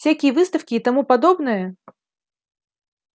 всякие выставки и тому подобное